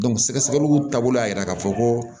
sɛgɛsɛgɛliw taabolo y'a yira k'a fɔ ko